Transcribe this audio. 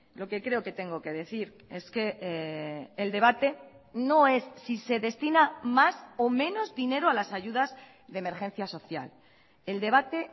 lo que creo que tengo que decir es que el debate no es si se destina más o menos dinero a las ayudas de emergencia social el debate